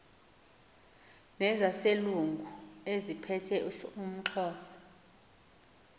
nezaselungu eziphethe umxhosa